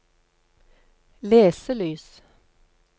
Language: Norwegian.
leselys